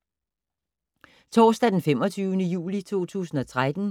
Torsdag d. 25. juli 2013